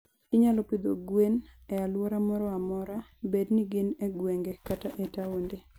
Inyalo pidho gwen e alwora moro amora, bed ni gin e gwenge kata e taonde.